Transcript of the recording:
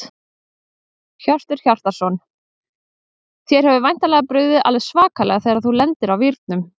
Hjörtur Hjartarson: Þér hefur væntanlega brugðið alveg svakalega þegar þú lendir á vírnum?